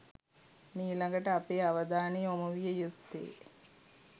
මීළඟට අපේ අවධානය යොමු විය යුත්තේ